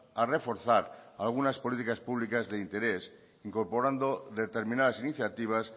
a reforzar algunas políticas públicas de interés incorporando determinadas iniciativas